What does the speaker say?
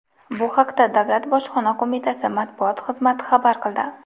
Bu haqda davlat bojxona qo‘mitasi matbuot xizmati xabar qildi .